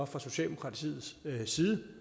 fra socialdemokratiets side